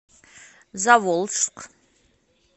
заволжск